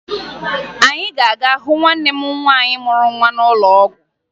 Anyị ga-aga hụ nwanne m nwaanyị mụrụ nwa ọhụrụ n'ụlọ ọgwụ